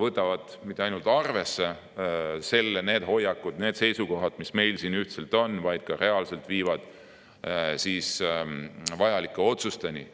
mitte ainult ei võeta arvesse neid hoiakuid ja seisukohti, mis meil siin ühiselt on, vaid need ka reaalselt viivad meid vajalike otsusteni.